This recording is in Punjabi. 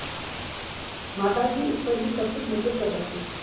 ਮਾਤਾ ਜੀ ਉੱਪਰ ਹੀ ਸਭ ਕੁਝ ਨਿਰਭਰ ਕਰਦਾ ਸੀ